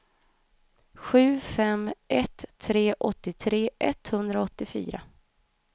sju fem ett tre åttiotre etthundraåttiofyra